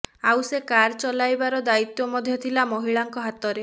ଆଉ ସେ କାର ଚଳାଇବାର ଦାୟିତ୍ୱ ମଧ୍ୟ ଥିଲା ମହିଳାଙ୍କ ହାତରେ